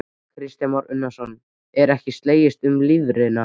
Kristján Már Unnarsson: Er ekki slegist um lifrina?